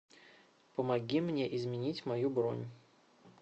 помоги мне изменить мою бронь